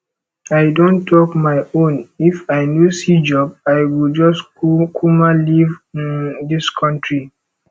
i don talk my own if i no see job i go just kukuma leave um dis country